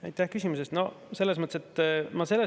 Aitäh küsimuse eest!